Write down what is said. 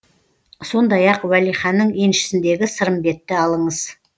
сондай ақ уәлиханның еншісіндегі сырымбетті алыңыз